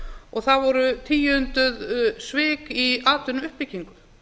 og það voru tíunduð svik í atvinnuuppbyggingu